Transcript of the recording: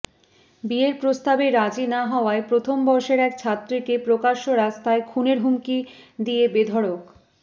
বিয়ের প্রস্তাবে রাজি না হওয়ায় প্রথম বর্ষের এক ছাত্রীকে প্রকাশ্য রাস্তায় খুনের হুমকি দিয়ে বেধড়ক